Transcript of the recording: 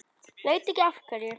Veit ekki af hverju.